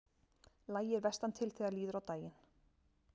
Lægir vestantil þegar líður á daginn